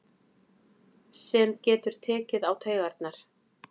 Sem getur tekið á taugarnar.